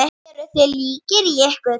Eru þið líkir í ykkur?